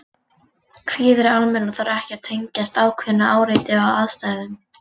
Kvíði er almennur og þarf ekki að tengjast ákveðnu áreiti eða aðstæðum.